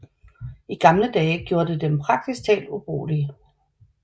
I gamle dage gjorde det dem praktisk taget ubrugelige